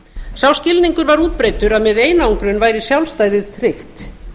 sá skilningur var útbreiddur að með einangrun væri sjálfstæðið tryggt